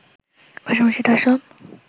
পাশাপাশি তার সব